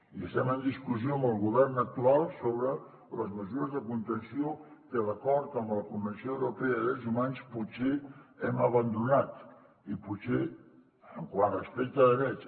i estem en discussió amb el govern actual sobre les mesures de contenció que d’acord amb la convenció europea de drets humans potser hem abandonat quant a respecte de drets